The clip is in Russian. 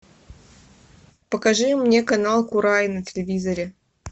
покажи мне канал курай на телевизоре